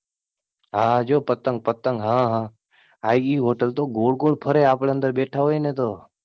હા જો પતંગ પતંગ, હા હા ઈ હોટલ તો ગોળ ગોળ ફરે આપડે અંદર બેઠા હોય ને તો